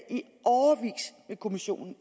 med kommissionen